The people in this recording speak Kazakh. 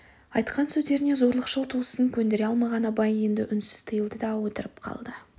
айтқан сөздеріне зорлықшыл туысын көндіре алмаған абай енді үнсіз тыйылды да отырып қалды